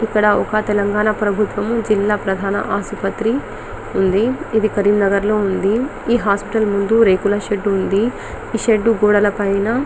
ఇక్కడ ఒక తెలంగాణ ప్రభుత్వము జిల్లా ప్రధాన ఆసుపత్రి ఉంది. ఇది కరిమన్నగర్ లో ఉంది ఈ హాస్పిటల్ ముందు రేకుల షెడ్ ఉంది ఈ షెడ్ గోడల పైన --